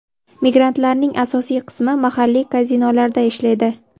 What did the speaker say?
Migrantlarning asosiy qismi mahalliy kazinolarda ishlaydi.